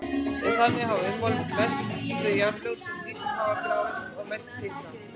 Þannig hafa ummyndast mest þau jarðlög sem dýpst hafa grafist og mest hitnað.